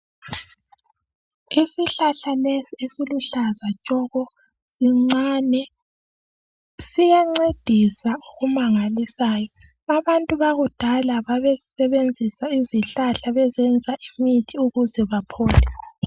Isihlahla lesi esiluhlaza tshoko sincane siyancedisa okumangalisayo abantu bakudala babesebenzisa izihlahla bezenza imithi ukuze baphole